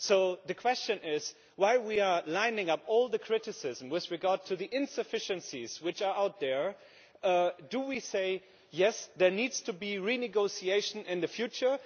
So the question is while we are lining up all the criticism with regard to the insufficiencies which are out there, do we say yes, there needs to be renegotiation in the future